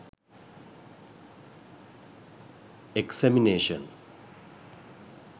examination